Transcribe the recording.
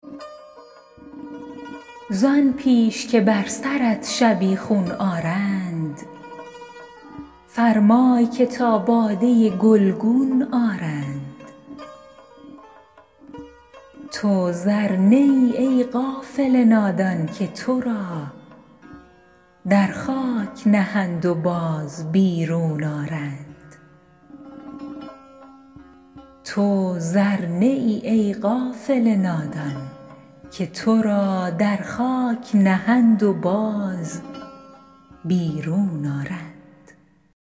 زآن پیش که بر سرت شبیخون آرند فرمای که تا باده گلگون آرند تو زر نه ای ای غافل نادان که تو را در خاک نهند و باز بیرون آرند